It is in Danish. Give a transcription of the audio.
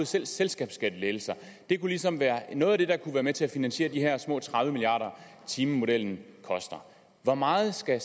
til selskabsskattelettelser det kunne ligesom være noget af det der kunne være med til at finansiere de her små tredive milliard timemodellen koster hvor meget skal